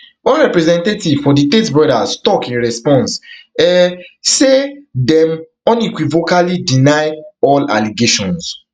one representative for di tate brothers tok in response um say dem unequivocally deny all allegations